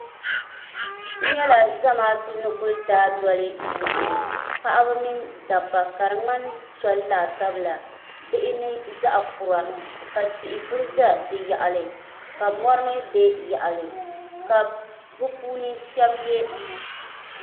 n nyɛla zamaatu ni ku daa doli moɣani paɣaba mini dabba ka di ŋmani soli laasabu la bihi ni zaɣ kura ka tihi ku ʒɛ di yaɣali ka mori mii ʒɛ yaɣali ka bi puuni shab yɛ